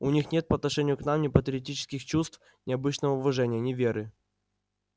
у них нет по отношению к нам ни патриотических чувств ни обычного уважения ни веры